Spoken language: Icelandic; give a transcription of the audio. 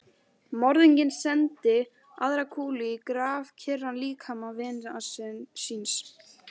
Morðinginn sendi aðra kúlu í grafkyrran líkama vinar síns.